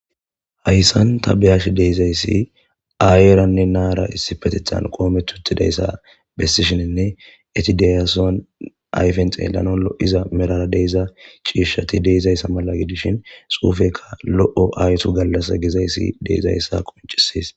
Hayssan ta be'ashe de'izayssi aayeyiranne na'ara issippeteththan qoometi uttidayssa bessishininne eti de'iyasohon ayfen xeellanaw lo'iyason medhara de'iza ciishshati de'izayssa mala gidishin xuufeykka lo'o ayso gallassa gizayssi de'izayssa qonccises.